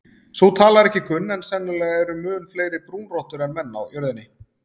Sú tala er ekki kunn en sennilega eru mun fleiri brúnrottur en menn á jörðinni.